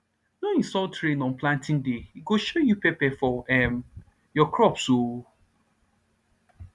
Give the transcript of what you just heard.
no insult rain on planting day e go show you pepper for um your crops um